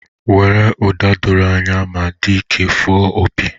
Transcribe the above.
Were ụda doro anya ma dị ike fụọ opi.